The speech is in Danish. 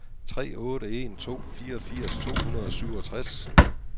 tre otte en to fireogfirs to hundrede og syvogtres